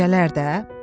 Gecələr də?